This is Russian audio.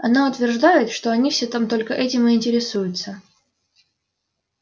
она утверждает что они все там только этим и интересуются